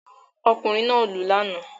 Ọkùnrin náà lù lánàá